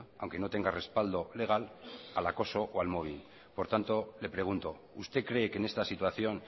aunque no tenga respaldo legal al acoso o al mobbing por lo tanto le pregunto usted cree que en esta situación